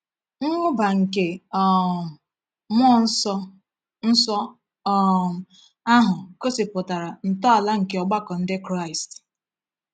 Mwụba nke um mmụọ nsọ nsọ um ahụ gosipụtara ntọala nke ọgbakọ Ndị Kraịst.